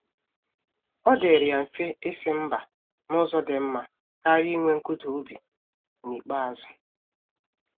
Ọ dịrị ya mfe isi mba n'ụzọ dị mma karịa inwe nkụda obi n'ikpeazụ.